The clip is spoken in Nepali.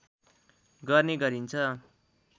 गर्ने गरिन्छ